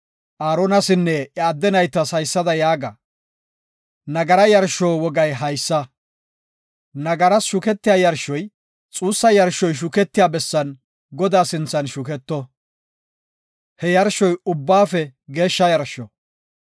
Aaronasinne iya adde naytas haysada yaaga; “Nagara yarsho wogay haysa; nagaras shuketiya yarshoy xuussa yarshoy shuketiya bessan Godaa sinthan shuketto. He yarshoy ubbaafe geeshsha yarsho.